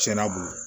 Tiɲɛna